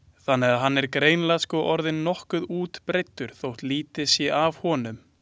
Þannig að hann er greinilega sko orðinn nokkuð útbreiddur þótt lítið sé af honum.